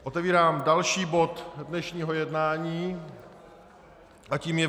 Otevírám další bod dnešního jednání a tím je